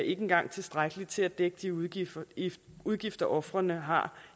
ikke engang tilstrækkeligt til at dække de udgifter udgifter ofrene har